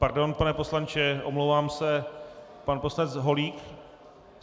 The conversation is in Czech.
Pardon, pane poslanče, omlouvám se - pan poslanec Holík?